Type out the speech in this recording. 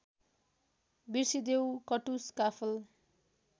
बिर्सिदेऊ कटुस काफल